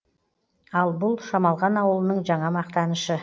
ал бұл шамалған ауылының жаңа мақтанышы